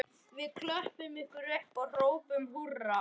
Við klöppum ykkur upp og hrópum húrra